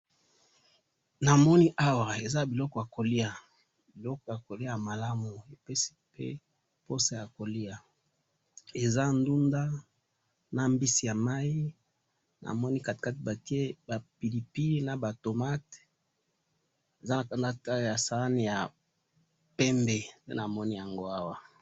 namoni awa eza biloko ya kolya ya malamu epesi pe poso ya kolya eza ndunda na mbisi ya maii namoni katikati batche ba pili pili naba tomates eza na sahani ya pembe nga namoni yango awa